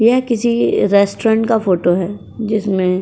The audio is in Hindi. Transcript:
यह किसी रेस्टोरेंट का फोटो है जिसमें --